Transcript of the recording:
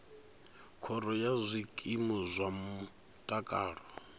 khoro ya zwikimu zwa mutakalo